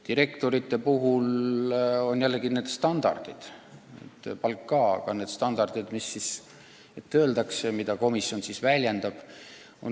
Direktorite puhul on ühtluse tagajaks need standardid – palk ka, aga need standardid –, mis ette öeldakse ja mida komisjon siis väljendab.